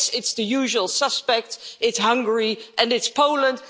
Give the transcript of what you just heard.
Yes, it's the usual suspects, it's Hungary and it's Poland.